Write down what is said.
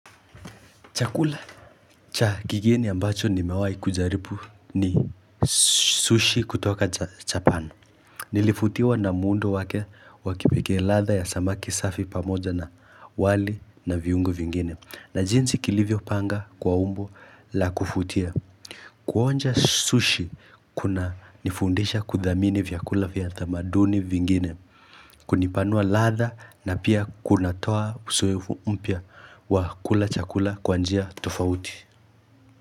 Chakula cha kigeni ambacho nimewai kujaribu ni sushi kutoka Japan. Nilibutiwa na muundo wake wa kipekee ladha ya samaki safi pamoja na wali na viungo vingine. Na jinsi kilivyo panga kwa umbo la kuvutia. Kuonja sushi kunanifundisha kuthamini vyakula vya tamaduni vingine. Kunipanua ladha na pia kunatoa uzoefu mpya wa kula chakula kwa njia tofauti.